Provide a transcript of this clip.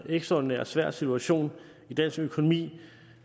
ekstraordinær svær situation i dansk økonomi